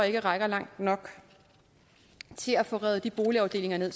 ikke rækker langt nok til at få revet de boligafdelinger ned